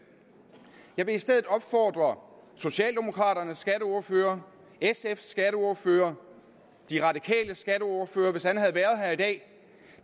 jeg vil i stedet opfordre socialdemokraternes skatteordfører sfs skatteordfører de radikales skatteordfører hvis han havde været her i dag